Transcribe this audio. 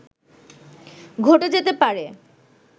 ঘটে যেতে পারে